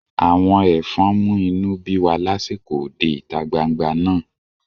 Àwọn ẹ̀fọn mú inú bí wa lásìkò òde ìta gbangba náà